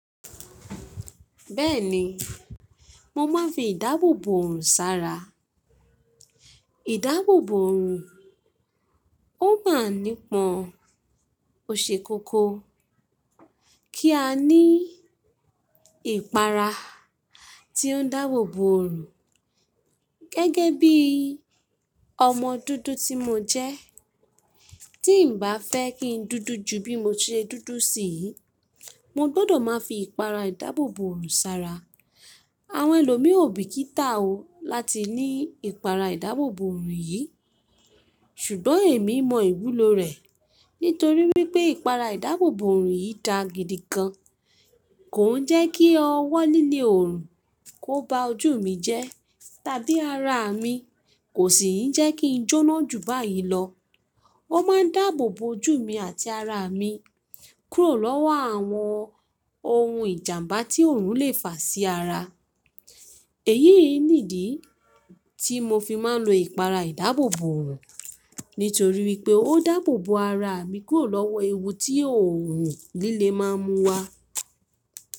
Bẹ́ẹ̀ni, mo máa ń fi ìdáàbòbò ọrùn sára. Ìdáàbòbò oorùn, ó máa ń nípọn òṣèkókó kí a ní ìpara tí ó ń dáàbòbò oorùn. Gẹ́gẹ́ bí ọmọ dúdú tí mo jẹ́, tí n bá fẹ́ kí n dúdú ju bí mo ti dúdú sí yìí, mo gbọdọ̀ máa fi ìpara ìdáàbòbò ọrùn sára. Àwọn ẹlòmíò bí kì í tà ó láti ní ìpara ìdáàbòbò oorùn yìí, ṣùgbọ́n èmi mọ ìwúlò rẹ̀. Nítorí wípé ìpara ìdáàbòbò ọrùn yìí dà gidi gan, kò ń jẹ́ kí ọwọ́ líle òorùn kó ba ojú mi jẹ́ tàbí ara mi, kò sì ń jẹ́ kí n jóná ju báyìí lọ. Ó máa ń dáàbòbo ojú mi àti ara mi kúrò lọ́wọ́ àwọn ohun ìjàmbá tí òorùn lè fà sí ara. Èyíi nìdí tí mo fi máa ń lo ìpara ìdáàbòbò oorùn, nítorí wípé ó dáàbòbo ara mi kúrò lọ́wọ́ ewu tí oòrùn líle máa ń mú wá.